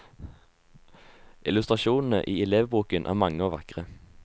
Illustrasjonene i elevboken er mange og vakre.